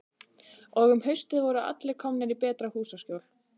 Og um haustið voru allir komnir í betra húsaskjól.